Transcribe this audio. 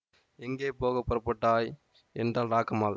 எங்கே போக புறப்பட்டாய் என்றாள் ராக்கம்மாள்